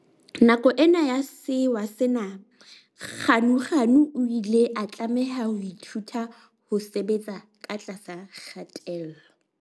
Nako ena ya sewa sena Ganuganu o ile a tlameha ho ithuta ho sebetsa ka tlasa kgatello.